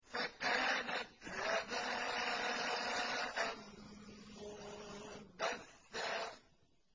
فَكَانَتْ هَبَاءً مُّنبَثًّا